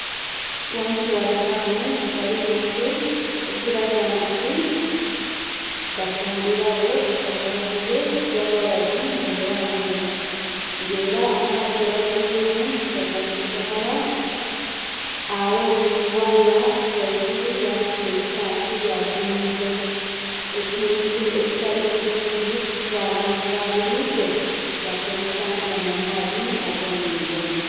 Ghansi gha dulaamu ghaligho enku, ekiraga nti bafumbiragho omwenge gwa walagi mu dulaamu eno. Nga era amaadhi gebatweiremu gaja mu kidomola, agho ni waya ghaigulu yabisa ebikyafu byagya mu mwiga, ekintu ekitali kirungi kuba abantu ba buliido bakozesa gano amaadhi ag'omwiga.